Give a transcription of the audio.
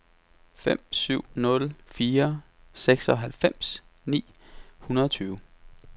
fem syv nul fire seksoghalvfems ni hundrede og tyve